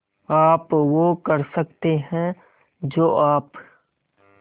आप वो कर सकते हैं जो आप